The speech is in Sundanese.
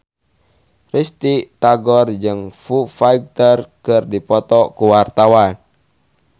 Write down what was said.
Risty Tagor jeung Foo Fighter keur dipoto ku wartawan